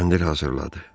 Kəndir hazırladı.